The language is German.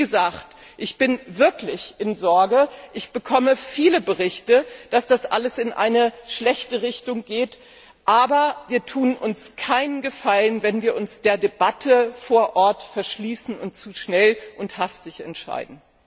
Wie gesagt, ich bin wirklich in Sorge, ich bekomme viele Berichte, dass das alles in eine schlechte Richtung geht. Aber wir tun uns keinen Gefallen, wenn wir uns der Debatte vor Ort verschließen und zu schnell und hastig entscheiden.